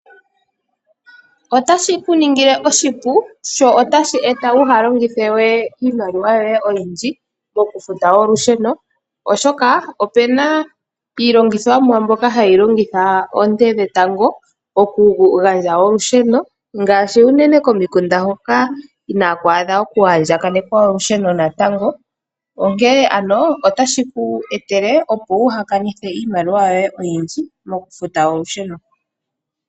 Otashi ku ningile oshipu sho otashi eta kuu longithe we iimaliwa yoye oyindji mokufuta olusheno, oshoka opu na iilongithomwa mbyoka hayi longitha oonte dhetango okugandja olusheno ngaashi unene komikunda hoka inaaku adha okuandjakanekwa olusheno natango, onkene shino otashi ku etele, opo waa longithe iimaliwa oyindji mokufuta olusheno.